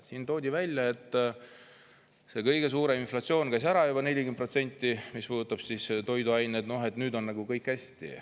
Siin toodi välja, et kõige suurem inflatsioon oli juba ära, 40%, mis puudutab toiduaineid, ja nüüd on nagu kõik hästi.